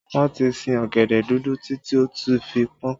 Wọn ti sin ọ̀gẹ̀dẹ̀ dúdú títí tó fi pọn